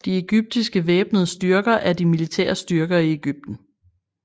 De egyptiske væbnede styrker er de militære styrker i Egypten